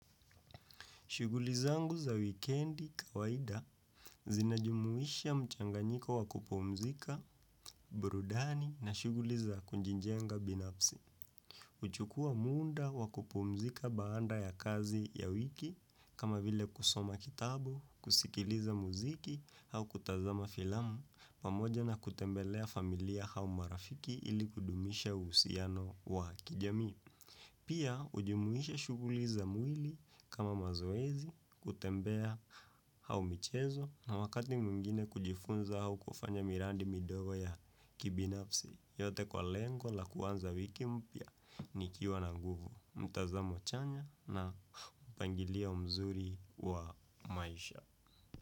Shughuli zangu za wikendi kawaida zinajumuisha mchanganyiko wa kupumzika, burudani na shughuli za kujijenga binafsi. Huchukua muda wa kupumzika baada ya kazi ya wiki, kama vile kusoma kitabu, kusikiliza muziki, au kutazama filamu, pamoja na kutembelea familia au marafiki ili kudumisha uhusiano wa kijamii. Pia hujumuisha shuguli za mwili kama mazoezi kutembea au michezo na wakati mwingine kujifunza au kufanya miradi midogo ya kibinafsi yote kwa lengo la kuanza wiki mpya nikiwa na nguvu. Mtazamo chanya na mpangilio mzuri wa maisha.